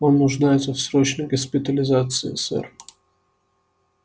он нуждается в срочной госпитализации сэр